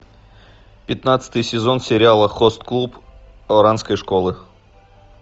пятнадцатый сезон сериала хост клуб оранской школы